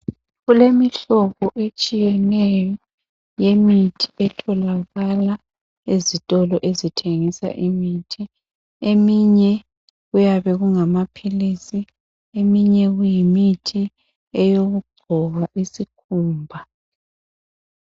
kulemihlobo etshiyeneyo yemithi etholakala ezitolo ezithengisa imithi eminye kuyabe kungamaphilisi eminye kuyimithi eyokugcoba isikhumba